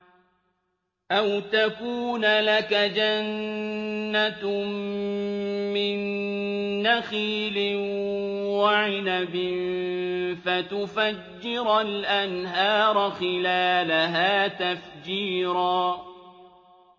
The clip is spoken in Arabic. أَوْ تَكُونَ لَكَ جَنَّةٌ مِّن نَّخِيلٍ وَعِنَبٍ فَتُفَجِّرَ الْأَنْهَارَ خِلَالَهَا تَفْجِيرًا